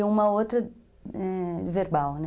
E uma outra verbal, né?